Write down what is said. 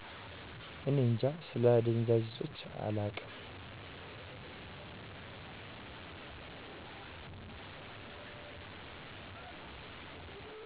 እኔ እጃ ስለ አደዛዥ እፆች አላውቅም